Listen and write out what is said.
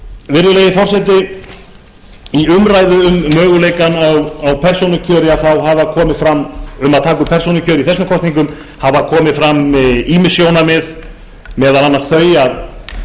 virðulegi forseti í umræðu um möguleikana á að taka upp persónukjör í þessum kosningum hafa komið fram ýmis sjónarmið meðal annars þau að